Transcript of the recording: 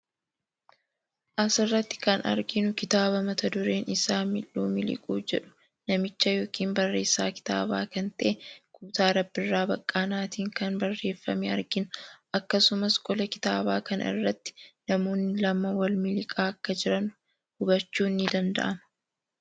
Asiratti kan arginu kitaaba mata dureen isaa Mil'uu Miliquu jedhu namicha yookiin barreessaa kitaabaa kan ta'e Guutaa Rabbirraa Baqqaanaatiin kan barreeffame argina. Akkasumas qola kitaabaa kana irratti namoonni lama wal miliqaa akka jiran hubachuun ni danda'ama.